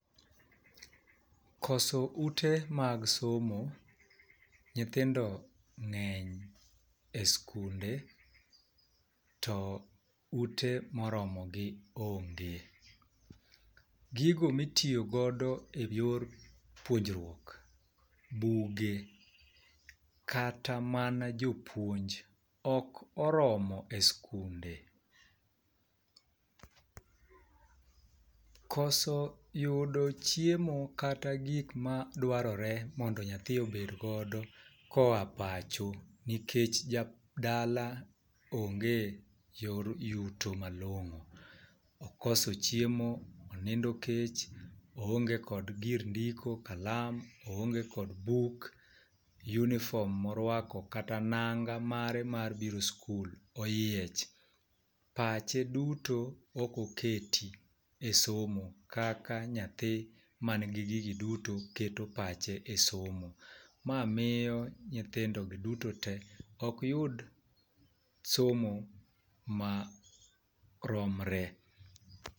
Koso ute mag somo nyithindo ng'eny eskunde to ute moromogi onge. Gigo mitiyogo godo eyor puonjruok, buge kata mana jopuonj ok oromo eskunde. Koso yudo chiemo kata gik madwarore mondo nyathi obed godo koa pacho nikech dala onge yor yuto malong'o okoso chiemo, onindo kech oonge kod gir ndiko, kalam, oonge kod buk uniform morwako kata nanga mare mar biro skul oyiech. Pache duto ok oketi esomo kaka nyathi man gigi duto keto pache esomo ma miyo nyithindogi duto te ok yud somo maromre.